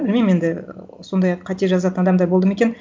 білмеймін енді і сондай қате жазатын адамдар болды ма екен